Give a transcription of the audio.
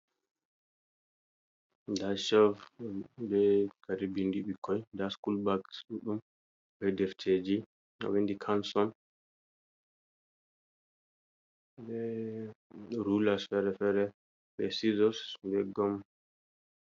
Ɗa chev ɓe kare ɓinɗi bikkôi, ɗa sukula bags duɗdum ɓe ɗrfteji ɗo windi canson ɓe rulas fere-fere ɓe sizos ɓe gôm.